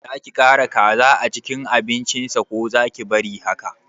Zaki ƙara kaza a cikin abincin sa ko zaki bari haka